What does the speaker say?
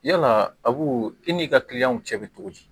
Yala abu i n'i ka kiliyanw cɛ bɛ cogo di